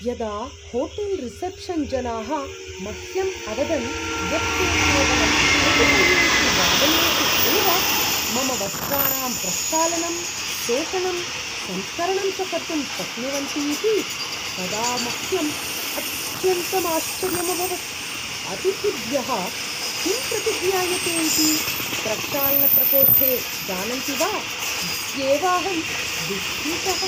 यदा होटेल् रिसेप्शन्-जनाः मह्यं अवदन् यत्ते केवलं कतिपयेषु वादनेषु एव मम वस्त्राणां प्रक्षालनं, शोषणं, संस्करणं च कर्तुं शक्नुवन्ति इति तदा मह्यम् अत्यन्तं आश्चर्यम् अभवत्, अतिथिभ्यः किं प्रतिज्ञायते इति प्रक्षालनप्रकोष्ठे जानन्ति वा इत्येव अहं विस्मितः।